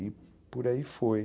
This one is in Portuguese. E por aí foi.